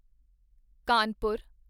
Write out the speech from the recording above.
Kanpur